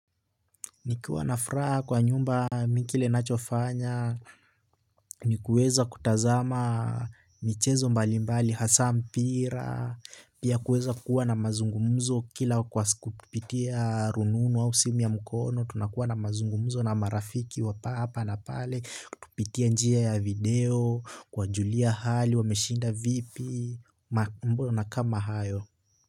Nikiwa na furaha kwa nyumba kile nachofanya, ni kuweza kutazama michezo mbalimbali hasa mpira, pia kuweza kuwa na mazungumzo kila kwa kupitia rununu au simu ya mkono, tunakuwa na mazungumzo na marafiki wa papa na pale, kutupitia njia ya video, kuwajulia hali wameshinda vipi, mbona na kama hayo.